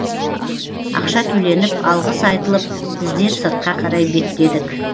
ақша төленіп алғыс айтылып біздер сыртқа қарай беттедік